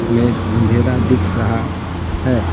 में अंधेरा दिख रहा है।